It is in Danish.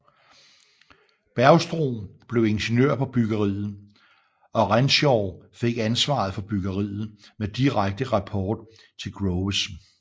Bergstrom blev ingeniør på byggeriet og Renshaw fik ansvaret for byggeriet med direkte rapport til Groves